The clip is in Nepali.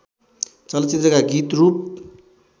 चलचित्रका गीत रूप